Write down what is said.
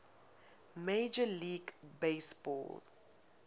major league baseball